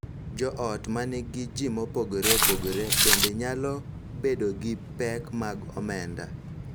Jo ot ma nigi ji mopogore opogore bende nyalo bedo gi pek mag omenda,